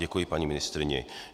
Děkuji paní ministryni.